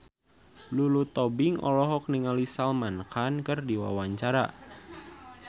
Lulu Tobing olohok ningali Salman Khan keur diwawancara